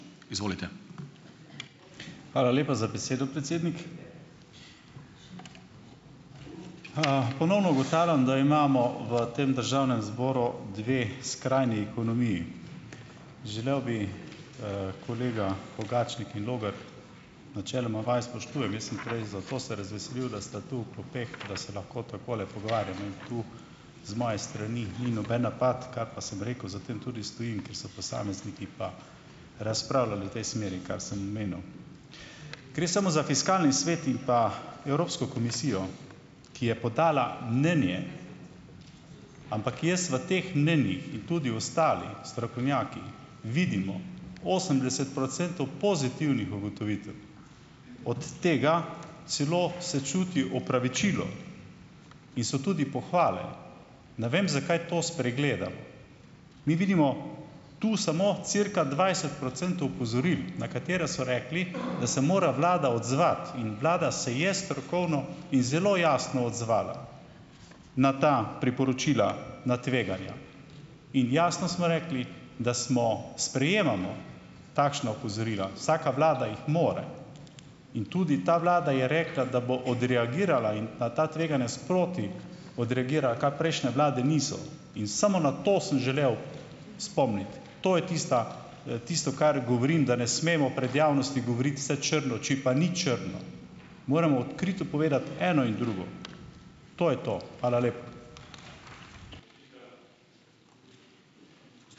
Hvala lepa za besedo, predsednik. Ponovno ugotavljam, da imamo v tem državnem zboru dve skrajni ekonomiji. Želel bi, kolega Pogačnik in Logar, načeloma vaju spoštujem, jaz sem prej zato se razveselil, da sta tu v klopeh, da se lahko takole pogovarjamo, in tu z moje strani ni noben napad, kar pa sem rekel, za tem tudi stojim, ker so posamezniki pa razpravljali v tej smeri, kar sem omenil. Gre samo za Fiskalni svet in pa Evropsko komisijo, ki je podala mnenje, ampak jaz v teh mnenjih in tudi ostali strokovnjaki vidimo osemdeset procentov pozitivnih ugotovitev. Od tega celo se čuti opravičilo in so tudi pohvale. Ne vem, zakaj to spregledamo. Mi vidimo to samo cirka dvajset procentov opozoril, na katere so rekli, da se mora vlada odzvati, in vlada se je strokovno in zelo jasno odzvala na ta priporočila na tveganja. In jasno smo rekli, da smo, sprejemamo takšna opozorila. Vsaka vlada jih more in tudi ta vlada je rekla, da bo odreagirala in na ta tveganja sproti odreagira, kar prejšnje vlade niso. In samo na to sem želel spomniti, to je tista, tisto, kar govorim, da ne smemo pred javnostjo govoriti vse črno, če pa ni črno. Moramo odkrito povedati eno in drugo, to je to. Hvala lepa.